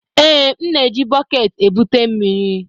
Ee, m na-eji bọket ebute mmiri.